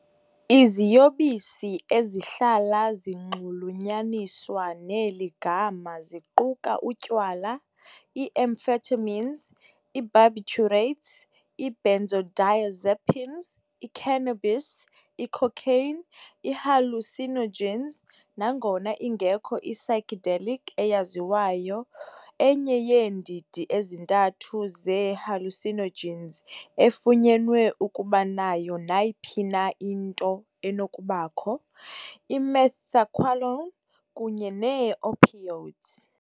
Iziyobisi ezihlala zinxulunyaniswa neli gama ziquka utywala, i-amphetamines, i-barbiturates, i-benzodiazepines, i- cannabis, i- cocaine, i-hallucinogens, nangona ingekho i- "psychedelic" eyaziwayo, enye yeendidi ezintathu ze-hallucinogens, efunyenwe ukuba nayo nayiphi na into enokubakho, i-methaqualone, kunye neeopioids .